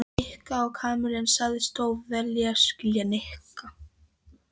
Nikka á Kamillu en sagðist þó vel skilja Nikka.